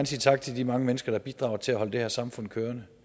sige tak til de mange mennesker der bidrager til at holde det her samfund kørende